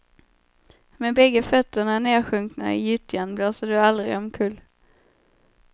Med bägge fötterna nedsjunkna i gyttjan blåser du aldrig omkull.